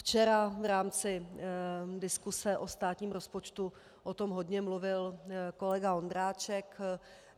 Včera v rámci diskuse o státním rozpočtu o tom hodně mluvil kolega Ondráček.